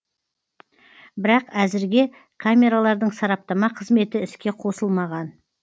бірақ әзірге камералардың сараптама қызметі іске қосылмаған